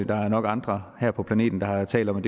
der er nok andre her på planeten der har talt om